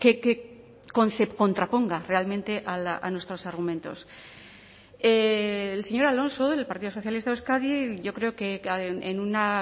que contraponga realmente a nuestros argumentos el señor alonso del partido socialista de euskadi yo creo que en una